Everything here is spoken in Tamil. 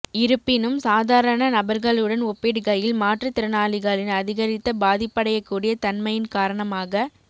இருப்பினும் சாதாரண நபர்களுடன் ஒப்பிடுகையில் மாற்றுத்திறனாளிகளின் அதிகரித்த பாதிப்படையக்கூடிய தன்மையின் காரணமாக